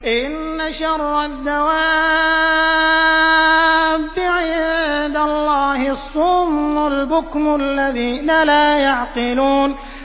۞ إِنَّ شَرَّ الدَّوَابِّ عِندَ اللَّهِ الصُّمُّ الْبُكْمُ الَّذِينَ لَا يَعْقِلُونَ